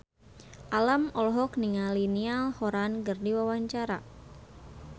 Alam olohok ningali Niall Horran keur diwawancara